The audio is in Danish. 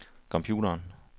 computeren